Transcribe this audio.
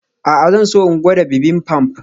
A'a amma zan so in gwada bibimbap.